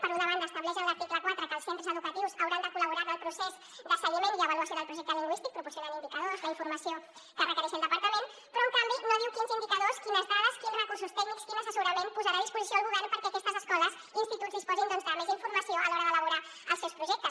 per una banda estableix en l’article quatre que els centres educatius hauran de col·laborar en el procés de seguiment i avaluació del projecte lingüístic proporcionant indicadors la informació que requereixi el departament però en canvi no diu quins indicadors quines dades quins recursos tècnics quin assessorament posarà a disposició el govern perquè aquestes escoles i instituts disposin de més informació a l’hora d’elaborar els seus projectes